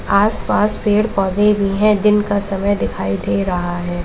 आसपास पेड़ पौधे भी हैं दिन का समय दिखाई दे रहा है।